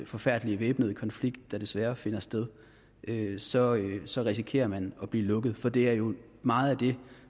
forfærdelige væbnede konflikt der desværre finder sted så så risikerer man at blive lukket for det er jo meget det